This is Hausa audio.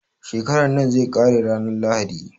Shekaran nan zai ƙare ranar lahadi